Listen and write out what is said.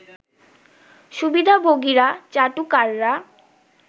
সুবিধাভোগীরা, চাটুকাররা